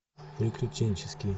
приключенческий